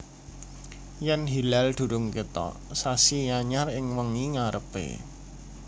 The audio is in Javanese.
Yèn hilal durung kètok sasi anyar ing wengi ngarepé